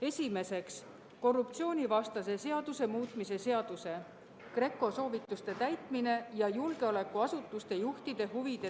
Esimeseks, korruptsioonivastase seaduse muutmise seaduse eelnõu.